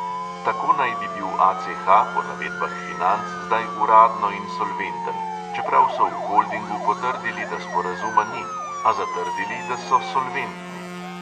Tako naj bi bil ACH po navedbah financ zdaj uradno insolventen, čeprav so v holdingu potrdili, da sporazuma ni, a zatrdili, da so solventni.